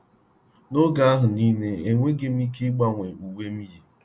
N’oge ahụ nile, enweghị m ike gbanwe uwe m yi.